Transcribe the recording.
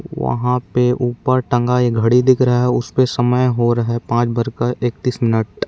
वहाँ पे ऊपर टंगा एक घड़ी दिख रहा है उसपे समय हो रहा है पाँच बज कर ऐकतिस मिनट।